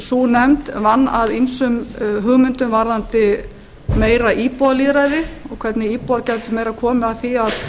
sú nefnd vann að ýmsum hugmyndum varðandi meira íbúalýðræði og hvernig íbúar gætu meira komið að því að